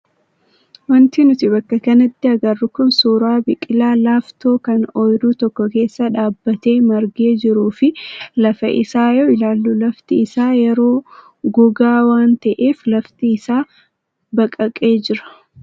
Wanti nuti bakka kanatti agarru kun suuraa biqilaa laaftoo kan oyiruu tokko keessa dhaabbatee margee jiruu fi lafa isaa yoo ilaallu, lafti isaa yeroo gogaa waan ta'eef lafti isaa baqaqee jira.